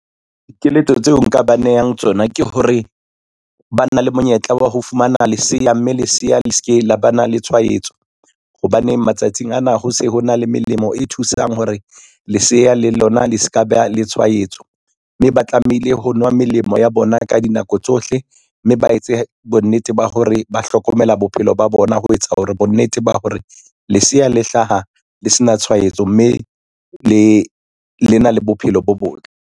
Dikeletso tseo nka ba nehang tsona ke hore, ba na le monyetla wa ho fumana leseya, mme leseya le ske la ba na le tshwaetso. Hobane matsatsing ana ho se ho na le melemo e thusang hore leseya le lona le ska ba le tshwaetso, mme ba tlamehile ho nwa melemo ya bona ka dinako tsohle, mme ba etse bonnete ba hore ba hlokomela bophelo ba bona ho etsa hore bonnete ba hore leseya le hlaha le sena tshwaetso, mme lena le bophelo bo botle.